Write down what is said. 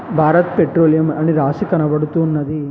Bharat Petroleum అని రాసి కనబడుతు ఉన్నది.